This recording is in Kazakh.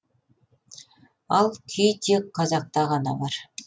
ал күй тек қазақта ғана бар